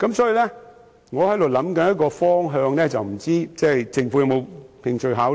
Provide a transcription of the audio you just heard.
所以，我正在研究一個做法，但不知政府是否有興趣考慮。